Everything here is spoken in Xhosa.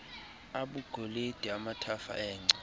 abugolide amathafa engca